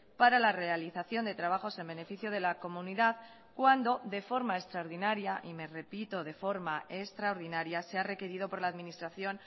para la realización de trabajos en beneficio de la comunidad cuando de forma extraordinaria y me repito de forma extraordinaria sea requerido por la administración